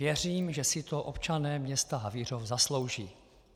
Věřím, že si to občané města Havířov zaslouží.